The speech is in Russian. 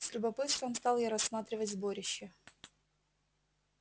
с любопытством стал я рассматривать сборище